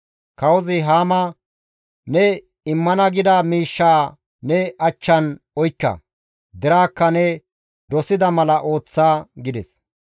Kawozi Haama, «Ne immana gida miishshaa ne achchan oykka; deraakka ne dosida mala ooththa» gides.